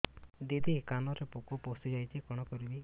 ଦିଦି କାନରେ ପୋକ ପଶିଯାଇଛି କଣ କରିଵି